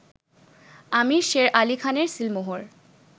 আমির শের আলী খানের সিলমোহর